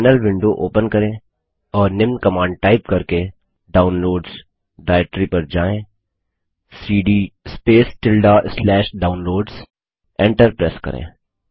terminal window open करें और निम्न कमांड टाइप करके डाउनलोड्स डाइरेक्टरी पर जाएँ160cd Downloadsसीडी space tilde slash downloads enter press करें